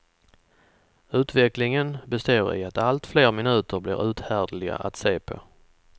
Utvecklingen består i att allt fler minuter blir uthärdliga att se på.